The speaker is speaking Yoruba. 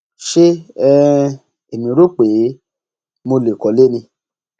ṣé um èmi rò pé mo lè kọlé ni